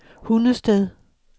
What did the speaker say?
Hundested